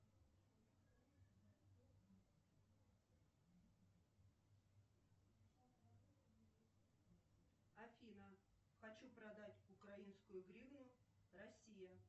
афина хочу продать украинскую гривну россия